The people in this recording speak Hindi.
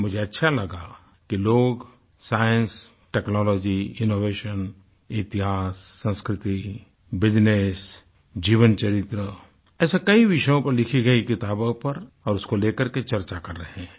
मुझे अच्छा लगा कि लोग साइंस टेक्नोलॉजी इनोवेशन इतिहास संस्कृतिbusiness जीवन चरित्र ऐसे कई विषयों पर लिखी गयी किताबों पर और उसको लेकर चर्चा कर रहे हैं